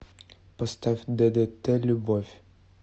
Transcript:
поставь ддт любовь